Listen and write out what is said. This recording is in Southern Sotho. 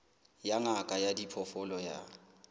ya ngaka ya diphoofolo ya